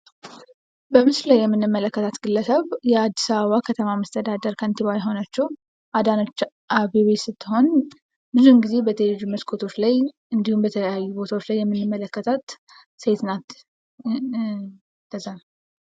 በምስሉ ላይ የምንመለከታት ግለሰብ የአዲስ አበባ ከንቲባ የሆነችው አዳነች አበቤ ስትሆን ብዙውን ጊዜ በቴሌቪዥን መስኮት እንዲሁም በተለያዩ ቦታዎች የምንመለከታት የምንመለከታት ሴት ናት።